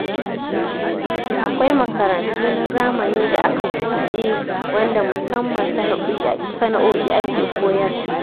Akwai makarantu na zamani da aka buɗe wanda musamman sana'o'i ake koyarwa.